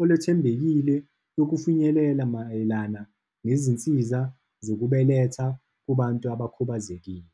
olwethembekile yokufinyelela mayelana nezinsiza zokubeletha kubantu abakhubazekile.